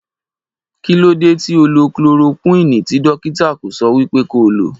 Kí ló dé tóo lo chloroquini ti Dọ̀kítà kò sọ wípé kí ó lò?